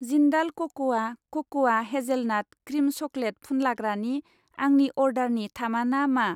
जिन्डाल कक'आ क'क'आ hazelnut cream chocolate फुनलाग्रानि आंनि अर्डारनि थामाना मा?